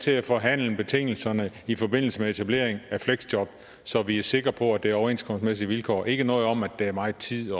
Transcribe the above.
til at forhandle betingelserne i forbindelse med etablering af fleksjob så vi er sikre på at det er under overenskomstmæssige vilkår ikke noget om at det er meget tid